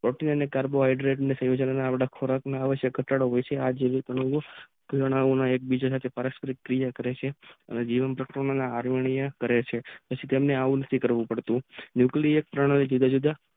carbo હેડેટ ના સંયોજન થી ઘટાડો આવે છે તેના એ બીજાના કિયા કરે છે તેવો આદરીનીય કરે છે આઉં કરે છે જુદા જુદા